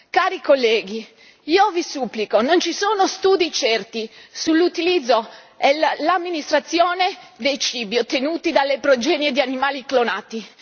Cari colleghi, io vi supplico, non vi sono studi certi sull'utilizzo e l'amministrazione dei cibi ottenuti dalle progenie di animali clonati.